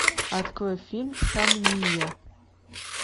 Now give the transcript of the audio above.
открой фильм сомния